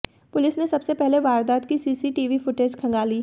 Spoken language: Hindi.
पुलिस ने सबसे पहले वारदात की सीसीटीवी फुटेज खंगाली